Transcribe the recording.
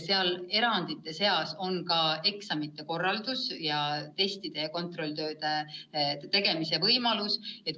Erandite seas on ka eksamite korraldamine ning testide ja kontrolltööde tegemise võimalus.